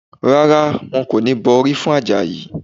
Rárá, wọn kò ní bọ orí fún Àjàyí